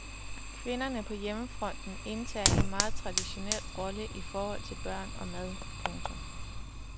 Kvinderne på hjemmefronten indtager en meget traditionel rolle i forhold til børn og mad. punktum